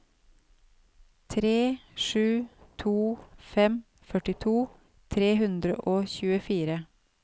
tre sju to fem førtito tre hundre og tjuefire